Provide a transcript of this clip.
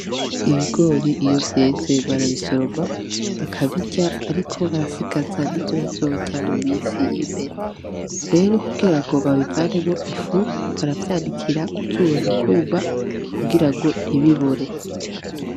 Ibigori iyo vyeze barabisoroma bakabirya ariko barasigaza n'ivyo bazorya mu misi iri imbere. Rero kugira ngo babivanemwo ifu, baravyanikira ku zuba bikuma kugira ngo ntibibore.